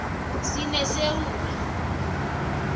sinesewula